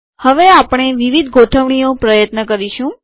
હવે આપણે વિવિધ ગોઠવણીઓં પ્રયત્ન કરીશું